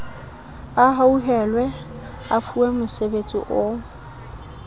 a hauhelwe a fuwemosebetsi o